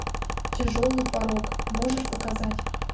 тяжелый порок можешь показать